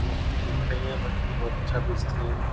मछली बेच रही हैं मछली बहुत अच्छा बेचती हैं ये।